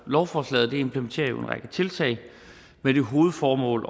lovforslaget implementerer en række tiltag med det hovedformål